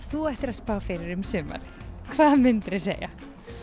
þú ættir að spá fyrir um sumarið hvað myndir þú segja